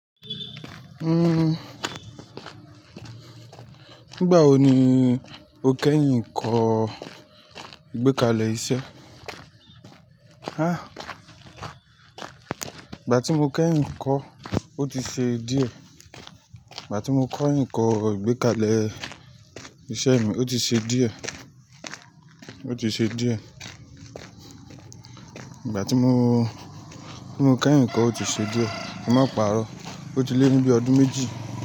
Nígbà wo ni o kẹ́yìn kọ́ ìgbékalẹ̀ iṣẹ́? Há! Ìgbà tí mo kẹ́yìn kọ́, ó ti ṣe díẹ̀. Ìgbà tí mo kọ́ ìkọ́ ìgbékalẹ̀ iṣẹ́ mi, ó ti ṣe díẹ̀. Ó ti ṣe díẹ̀. Ìgbà tí mo, tí mo kẹ́yìn kọ́, ó ti ṣe díẹ̀. Ki n má pa'rọ́. Ó ti lé ní bí i ọdún méjì.